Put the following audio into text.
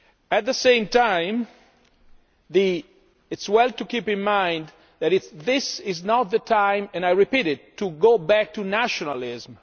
At the same time, it is well to keep in mind that this is not the time and I repeat it to go back to nationalism.